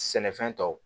Sɛnɛfɛn tɔw